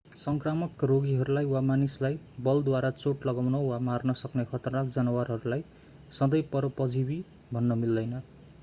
सङ्क्रामक रोगहरूलाई वा मानिसलाई बलद्वारा चोट लगाउन वा मार्न सक्ने खतरनाक जनावरहरूलाई सधैँ परोपजीवि भन्न मिलदैन